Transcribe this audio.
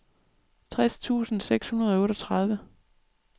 tres tusind seks hundrede og otteogtredive